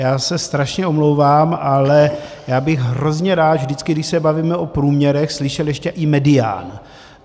Já se strašně omlouvám, ale já bych hrozně rád, vždycky když se bavíme o průměrech, slyšel ještě i medián.